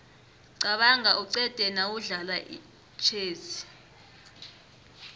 qabanga uqede nawudlala itjhezi